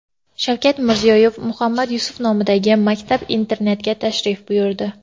Shavkat Mirziyoyev Muhammad Yusuf nomidagi maktab-internatga tashrif buyurdi.